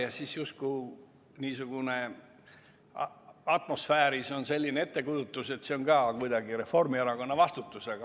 Ja siis on justkui atmosfääris selline ettekujutus, et see on ka kuidagi Reformierakonna vastutus.